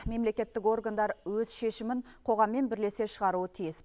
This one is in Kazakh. мемлекеттік органдар өз шемімін қоғаммен бірлесе шығаруы тиіс